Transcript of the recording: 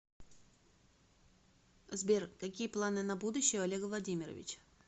сбер какие планы на будущее у олега владимировича